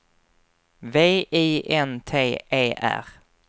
V I N T E R